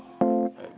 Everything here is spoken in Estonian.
Ah!